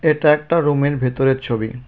এটা একটা রুমের ভেতরের ছবি.